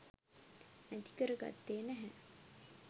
නැති කර ගත්තේ නැහැ.